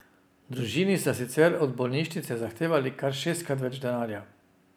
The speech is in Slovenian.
Družini sta sicer od bolnišnice zahtevali kar šestkrat več denarja.